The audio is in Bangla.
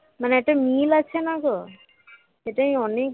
মানে একটা মিল আছে না গো সেটাই অনেক